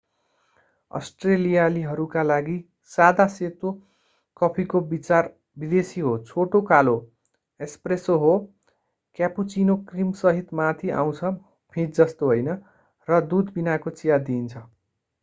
अष्ट्रेलियालीहरूका लागि सादा सेतो” कफीको विचार विदेशी हो। छोटो कालो एस्प्रेसो” हो क्यापुचिनो क्रीमसहित माथि आउँछ फिँज जस्तो होइन र दूध बिनाको चिया दिइन्छ।